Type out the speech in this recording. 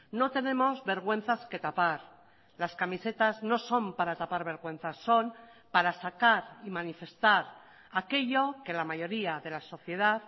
no tenemos vergüenzas que tapar las camisetas no son para tapar vergüenzas son para sacar y manifestar aquello que la mayoría de la sociedad